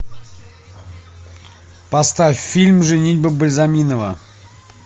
поставь фильм женитьба бальзаминова